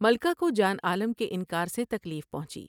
ملکہ کو جان عالم کے انکار سے تکلیف پہنچی ۔